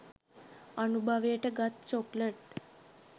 අනුභවයට ගත් චොක්ලට්